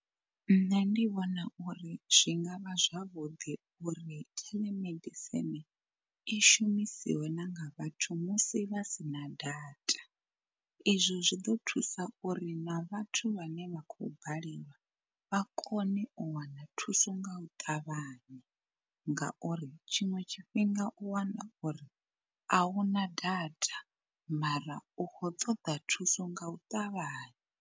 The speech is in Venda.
Nṋe ndi vhona uri zwi ngavha zwavhuḓi uri telemedicine i shumisiwe na nga vhathu musi vha sina data. I zwo zwi ḓo thusa uri na vhathu vhane vha khou balelwa vha kone u wana thuso nga u ṱavhanya, ngauri tshiṅwe tshifhinga u wana uri a una data mara u khou ṱoḓa thuso nga u ṱavhanya.